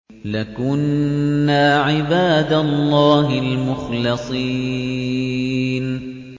لَكُنَّا عِبَادَ اللَّهِ الْمُخْلَصِينَ